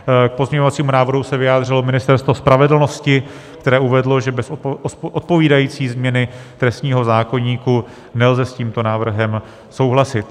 K pozměňovacímu návrhu se vyjádřilo Ministerstvo spravedlnosti, které uvedlo, že bez odpovídající změny trestního zákoníku nelze s tímto návrhem souhlasit.